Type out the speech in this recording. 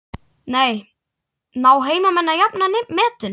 Ná heimamenn að jafna metin?